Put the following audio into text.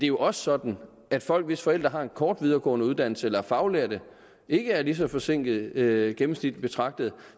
jo også sådan at folk hvis forældre har en kort videregående uddannelse eller er faglærte ikke er lige så forsinkede gennemsnitligt betragtet